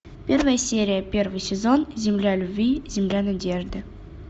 первая серия первый сезон земля любви земля надежды